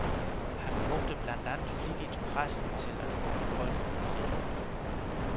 Han brugte blandt andet flittigt pressen til at få befolkningens hjælp.